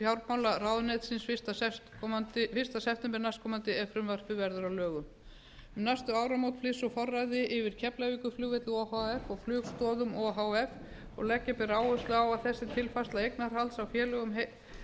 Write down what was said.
fjármálaráðuneytisins fyrsta september næstkomandi ef frumvarpið verður að lögum um næstu áramót flyst svo forræðið yfir keflavíkurflugvelli o h f og flugstoðum o h f leggja ber á áherslu á að þessi tilfærsla eignarhalds í félögunum